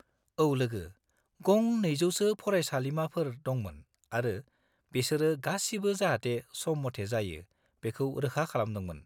औ लोगो, गं 200 सो फरायसालिमाफोर दंमोन आरो बेसोरो गासिबो जाहाते सम मथे जायो बेखौ रोखा खालामदोंमोन।